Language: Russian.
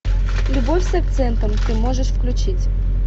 любовь с акцентом ты можешь включить